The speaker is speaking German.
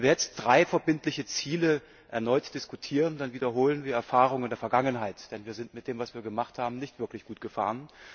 Wenn wir jetzt drei verbindliche Ziele erneut diskutieren, dann wiederholen wir Erfahrungen der Vergangenheit. Denn wir sind mit dem, was wir gemacht haben, nicht wirklich gut gefahren.